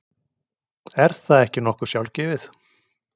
Er það ekki nokkuð sjálfgefið?